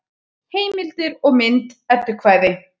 Heimildir og mynd Eddukvæði.